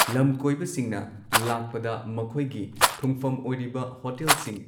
ꯂꯝ ꯀꯣꯏꯕꯁꯤꯡꯅ ꯂꯥꯛꯄꯗ ꯃꯈꯣꯏꯒꯤ ꯊꯨꯡꯐꯝ ꯑꯣꯏꯔꯤꯕ ꯍꯣꯇꯦꯜꯁꯤꯡ